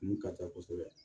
Mun ka ca kosɛbɛ